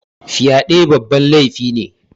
Fyaɗe babban laifi ne